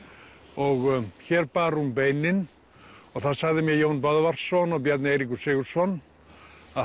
og hér bar hún beinin og það sagði mér Jón Böðvarsson og Bjarni Eiríkur Sigurðsson að